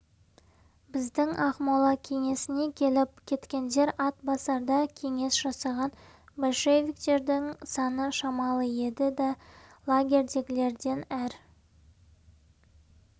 біздің ақмола кеңесіне келіп кеткендер атбасарда кеңес жасаған большевиктердің саны шамалы еді де лагерьдегілерден әр